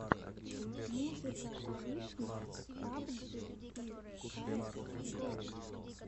музыка аришнев пабджи и каэс гоу